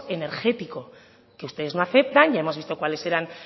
energético que ustedes no aceptan ya hemos visto cuáles eran